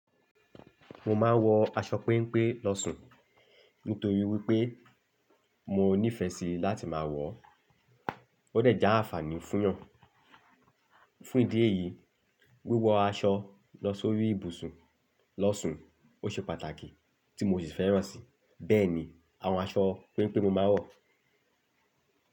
Mo máa ń wọ aṣọ péńpé lọ́sun, nítorí wípé mo níìfẹ̀ sí láti máa wọ̀ ọ́. Ó dàjà àǹfààní fún yan fun ìdí èyí, wíwọ aṣọ lọ́ sórí ibùsùn lọ́sun ọ ṣe pàtàkì tí mo sì fẹ́ràn sì. Bẹ́ẹ̀ni, àwọn aṣọ péńpé mo máa ń wọ̀